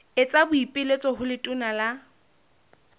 etsa boipiletso ho letona la